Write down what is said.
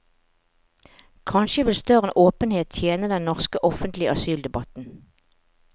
Kanskje ville større åpenhet tjene den norske offentlige asyldebatten.